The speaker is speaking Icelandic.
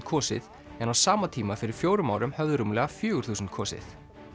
kosið en á sama tíma fyrir fjórum árum höfðu rúmlega fjögur þúsund kosið